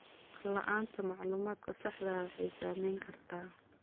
La'aanta macluumaadka saxda ah waxay saameyn kartaa.